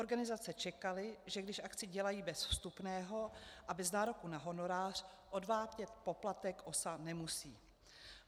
Organizace čekaly, že když akci dělají bez vstupného a bez nároku na honorář, odvádět poplatek OSA nemusí.